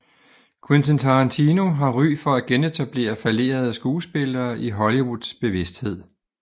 Quentin Tarantino har ry for at genetablere fallerede skuespillere i Hollywoods bevidsthed